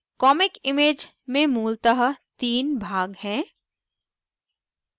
comic image में मूलतः the भाग हैं